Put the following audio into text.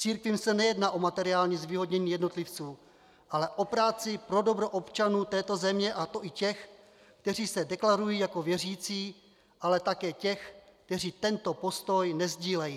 Církvím se nejedná o materiální zvýhodnění jednotlivců, ale o práci pro dobro občanů této země, a to i těch, kteří se deklarují jako věřící, ale také těch, kteří tento postoj nesdílejí.